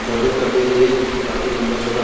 बरगद का पेड़ ही है जो कि काफी लंबा चौड़ा --